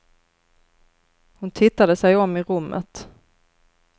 Hon tittade sig om i rummet.